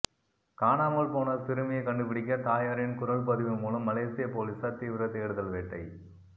காணாமல் போன சிறுமியை கண்டுபிடிக்க தாயாரின் குரல் பதிவு மூலம் மலேசிய போலீசார் தீவிர தேடுதல் வேட்டை